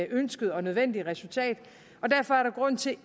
ønskede og nødvendige resultat og derfor er der grund til